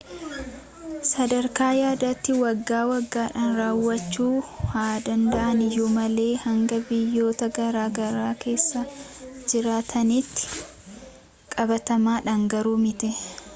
sadarkaa yaadaatti waggaa waggaadhaan raawwachuu haa danda’an iyyuu malee hanga biyyoota garaa garaa keessa jiraatanitti qabatamaadhaan garuu miti